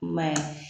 I m'a ye